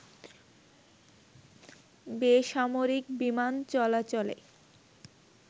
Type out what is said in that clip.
বেসামরিক বিমান চলাচলে